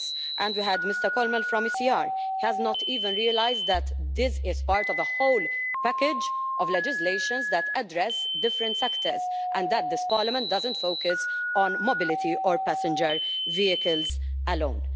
And we had Mr Kölmel from the ECR, who has not even realised that this is part of a whole package of legislation which addresses different sectors and that this Parliament doesn't focus on mobility or passenger vehicles alone.